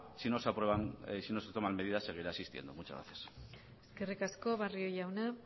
si se no se toman medidas seguirá existiendo muchas gracias eskerrik asko barrio jauna